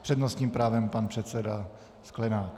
S přednostním právem pan předseda Sklenák.